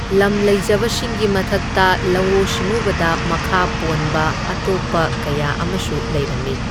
ꯂꯝ ꯂꯩꯖꯕꯁꯤꯡꯒꯤ ꯃꯊꯛꯇ ꯂꯧꯎ ꯁꯤꯡꯎꯕꯗ ꯃꯈꯥ ꯄꯣꯟꯕ ꯑꯇꯣꯞꯄ ꯀꯌꯥ ꯑꯃꯁꯨ ꯂꯩꯔꯝꯃꯤ꯫